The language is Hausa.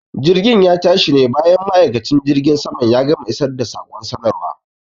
Jirgin ya tashi ne bayan ma'aikacin jirgin saman ya gama isar da saƙon sanarwa.